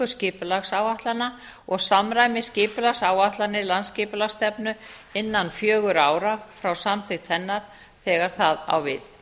skipulagsáætlana og samræmi skipulagsáætlanir landsskipulagsstefnu innan fjögurra ára frá samþykkt hennar þegar það á við